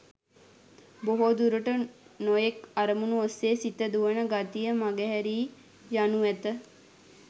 බොහෝ දුරට නොයෙක් අරමුණු ඔස්සේ සිත දුවන ගතිය මඟ හැරී යනු ඇත.